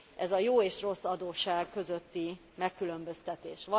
Ez a jó és rossz adósság közötti megkülönböztetés.